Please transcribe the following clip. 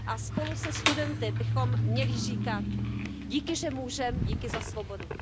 Spolu se studenty bychom měli říkat Díky, že můžem. Díky za svobodu.